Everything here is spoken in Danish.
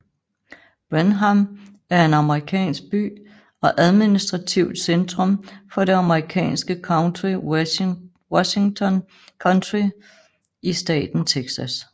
Brenham er en amerikansk by og administrativt centrum for det amerikanske county Washington County i staten Texas